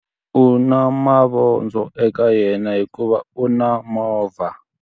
U na mavondzo eka yena hikuva u na movha.